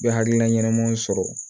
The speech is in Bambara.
U bɛ hakilina ɲɛnamanw sɔrɔ